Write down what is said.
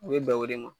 U ye bɛnko de ma